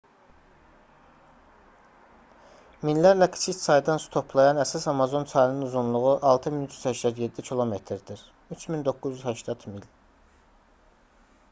minlərlə kiçik çaydan su toplayan əsas amazon çayının uzunluğu 6387 km-dir 3980 mil